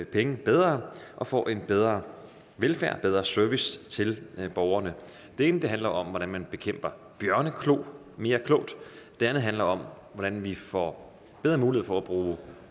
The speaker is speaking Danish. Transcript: penge bedre og får en bedre velfærd og bedre service til borgerne det ene handler om hvordan man bekæmper bjørneklo mere klogt det andet handler om hvordan vi får bedre mulighed for at bruge